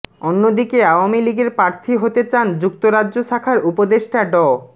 অন্যদিকে আওয়ামী লীগের প্রার্থী হতে চান যুক্তরাজ্য শাখার উপদেষ্টা ড